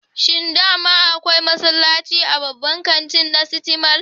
Shin daman akwai masallaci a babban kantin na siti mal?